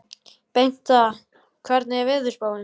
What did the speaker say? Bengta, hvernig er veðurspáin?